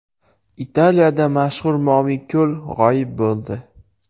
Italiyada mashhur Moviy ko‘l g‘oyib bo‘ldi.